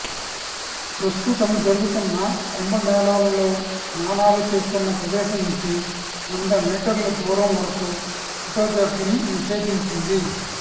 ప్రస్తుతం జరుగుతున్న కుంభమేళాలో స్నానాలు చేస్తున్న ప్రదేశం నుంచి వంద మీటర్ల దూరం వరకు ఫొటోగ్రఫీని నిషేధించింది